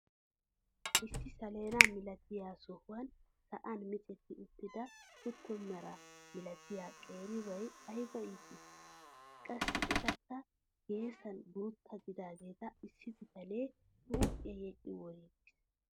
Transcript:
Issi saleena milatiyaa sohuwaan sa'aan micetti uttida kutto mara milatiyaa qeribay ayba ittii! qassi etikka geessan guutta gidaageta issi bitanee huuphphiyaa yedhi woriigiis.